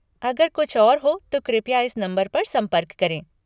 अगर कुछ और हो तो कृपया इस नंबर पर संपर्क करें।